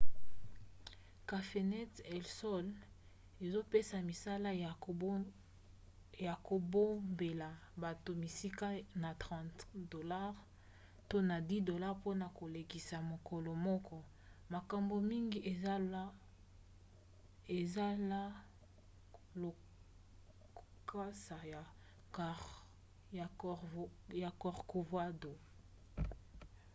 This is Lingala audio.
cafenet el sol ezopesa misala ya kobombela bato bisika na 30$ to na 10$ mpona kolekisa mokolo moko; makambo mingi eza la lokasa ya corcovado